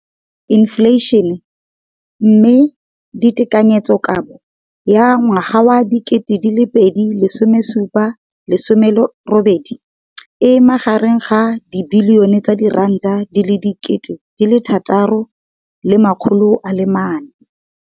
Infleišene, mme tekanyetsokabo ya 2017, 18, e magareng ga R6.4 bilione.